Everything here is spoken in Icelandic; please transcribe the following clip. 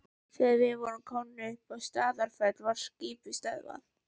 Þegar við vorum komnir upp undir Staðarfell var skipið stöðvað.